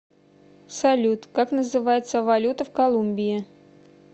салют как называется валюта в колумбии